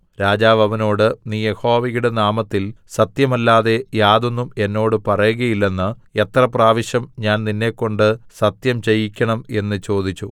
രാജാവ് അവനോട് നീ യഹോവയുടെ നാമത്തിൽ സത്യമല്ലാതെ യാതൊന്നും എന്നോട് പറയുകയില്ലെന്ന് എത്ര പ്രാവശ്യം ഞാൻ നിന്നെക്കൊണ്ട് സത്യംചെയ്യിക്കേണം എന്ന് ചോദിച്ചു